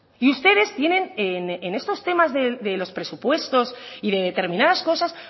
y ustedes tienen en esto temas de los presupuestos y de determinadas cosas